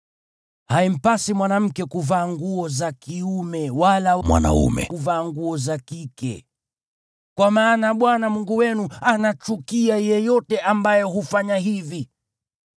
Haimpasi mwanamke kuvaa nguo za kiume wala mwanaume kuvaa nguo za kike, kwa maana Bwana Mungu wenu anachukia yeyote ambaye hufanya hivi.